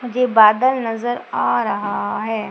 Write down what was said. मुझे बादल नजर आ रहा है।